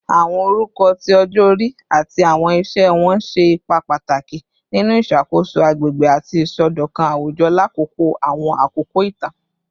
Awọn orukọ ti ọjọ-ori ati awọn iṣẹ wọn ṣe ipa pataki ninu iṣakoso agbegbe ati isọdọkan awujọ lakoko awọn akoko itan